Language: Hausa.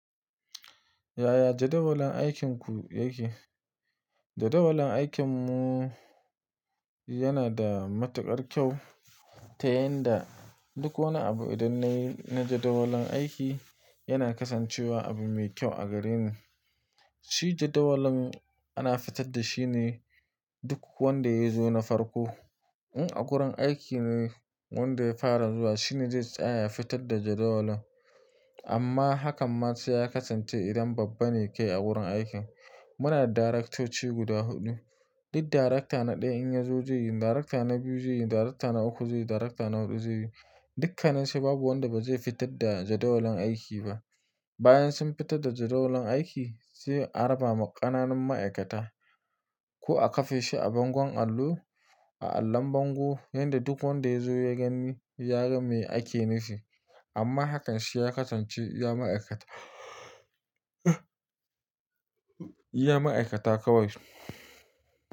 Yaya jadawalin aikinku yake? Jadawalin aikinmu yana da matuƙar kyau ta yan da duk wani abu idan na yi na jadawalin aiki yana kasancewa abu mai kyau a gareni. Shi jadawalin ana fitar da shi ne duk wanda ya zo na farko. In a gurin aiki ne wanda ya fara zuwa shine zai tsaya ya fitar da jadawalin. Amma hakan ma sai ya kasance idan babba ne ke a wurin aikin. Muna da daraktoci guda huɗu. Duk darakta na ɗaya in ya zo zai yi, darakta na biyu zai yi, darakta na uku zai yi, darakta na huɗu zai yi. Dukansu babu wanda ba zai fitar da jadawalin aiki ba. Bayan sun fitar da jadawalin aiki sai a raba ma ƙananun ma'aikata ko a kafe shi a bangon allo, a allon bango yanda duk wanda ya zo ya gani ya ga me ake nufi. Amma hakan shi ya kasance iya ma'aikata, iya ma'aikata kawai.